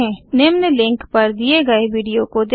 निम्न लिंक पर दिए गए वीडियो को देखें